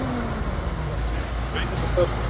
Börn send heim vegna veikinda starfsfólks